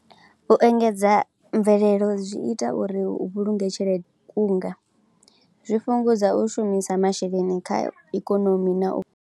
U engedza mvelelo zwi ita uri u vhulunge tshelede, u kunga zwi fhungudza u shumisa masheleni kha ikonomi na u.